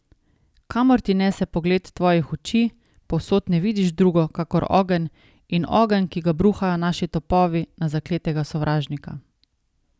Kamor Ti nese pogled Tvojih oči povsod ne vidiš drugo kakor ogenj in ogenj, ki ga bruhajo naši topovi na zakletega sovražnika.